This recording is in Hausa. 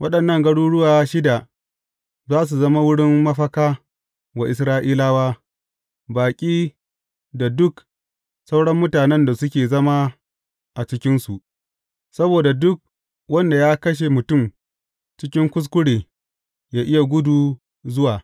Waɗannan garuruwa shida za su zama wurin mafaka wa Isra’ilawa, baƙi da duk sauran mutanen da suke zama a cikinsu, saboda duk wanda ya kashe mutum cikin kuskure yă iya gudu zuwa.